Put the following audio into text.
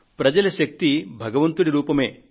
ప్రజల శక్తి భగవంతుడి రూపమే